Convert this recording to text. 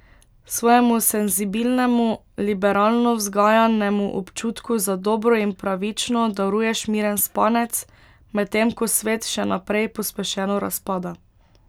Svojemu senzibilnemu, liberalno vzgajanemu občutku za dobro in pravično daruješ miren spanec, medtem ko svet še naprej pospešeno razpada.